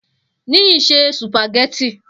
Niyi se sùpàgẹ́tì